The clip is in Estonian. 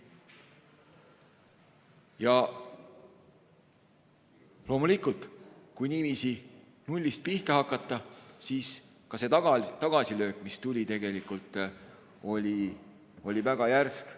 Ja loomulikult, kui niiviisi nullist pihta hakata, siis ka see tagasilöök, mis tuli, oli väga järsk.